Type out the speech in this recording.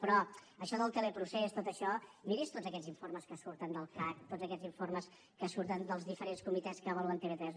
però això del teleprocés tot això miri’s tots aquests informes que surten del cac tots aquests informes que surten dels diferents comitès que avaluen tv3